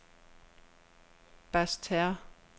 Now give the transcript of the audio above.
Basseterre